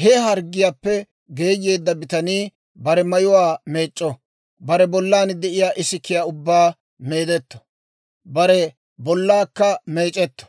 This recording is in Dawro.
«He harggiyaappe geeyeedda bitanii bare mayuwaa meec'c'o; bare bollan de'iyaa isikiyaa ubbaa meedetto; bare bollaakka meec'etto;